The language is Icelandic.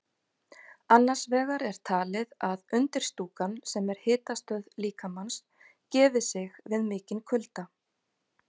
Annars vegar er talið að undirstúkan, sem er hitastöð líkamans, gefi sig við mikinn kulda.